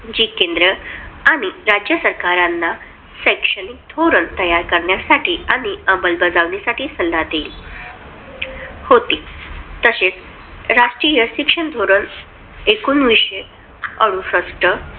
जी केंद्र आणि राज्य सरकारांना शैक्षणिक धोरण तयार करण्यासाठी आणि अंमलबजावणीसाठी सल्ला देईल होती. तशेच राष्ट्रीय शिक्षण धोरण एकोणविशे अडुसष्ट